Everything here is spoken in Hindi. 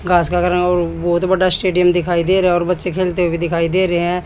घास का ग्राउंड बहुत बड़ा स्टेडियम दिखाई दे रहा है और बच्चे खेलते हुए दिखाई दे रहे हैं।